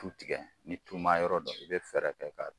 Tu tigɛ ni tuma yɔrɔ don